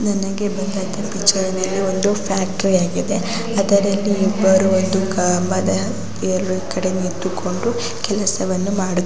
ನನಗೆ ಬಂದಂತ ಪಿಚ್ಚರ ಒಂದು ಫ್ಯಾಕ್ಟರಿ ಅಗಿದೆ ಅದರಲ್ಲಿ ಇಬ್ಬರು ಕಂಬದ ಎರಡು ಕೆಡೆ ನಿಂತುಕೊಂಡು ಕೆಲಸವನ್ನು ಮಾಡುತ್ತಿ --